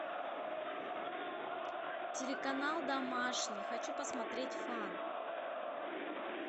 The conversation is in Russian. телеканал домашний хочу посмотреть фан